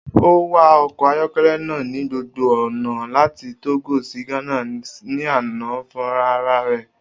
O wa ọkọ ayọkẹlẹ naa ni gbogbo ọna lati Togo si Ghana ni ana funrararẹ.